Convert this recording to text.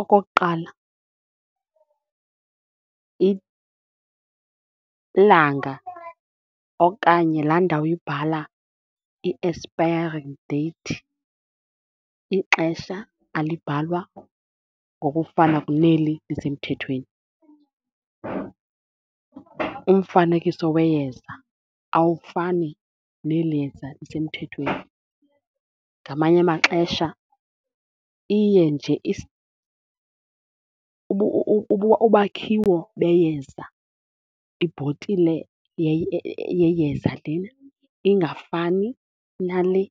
Okokuqala ilanga okanye laa ndawo ibhala i-expiring date, ixesha alibhalwa ngokufana kuneli lisemthethweni. Umfanekiso weyeza awufani neli yeza lisemthethweni. Ngamanye amaxesha iye nje ubakhiwo beyenza, ibhotile yeyeza lena ingafani nale,